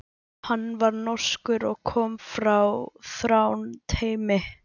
Hann var norskur og kom frá Þrándheimi.